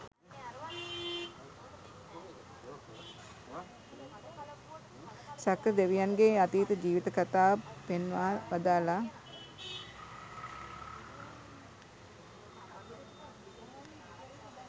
සක්‍ර දෙවියන්ගේ අතීත ජීවිත කථාව පෙන්වා වදාළා.